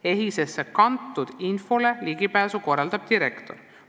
EHIS-esse kantud infole ligipääsu korraldab direktor.